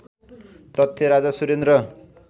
तथ्य राजा सुरेन्द्र